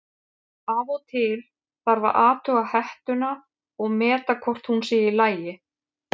Af og til þarf að athuga hettuna og meta hvort hún sé í lagi.